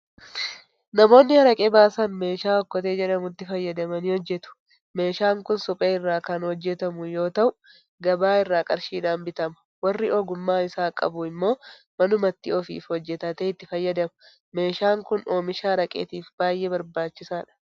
Namoonni Haraqee baasan meeshaa Okkotee jedhamutti fayyadamanii hojjetu. Meeshaan kun suphee irraa kan hojjetamu yoota'u gabaa irraa qarshiidhaan bitama. Warri ogummaa isaa qabu immoo manumatti ofiif hojjetatee itti fayyadama. Meeshaan kun oomisha Haraqeetiif baay'ee barbaachisaadha.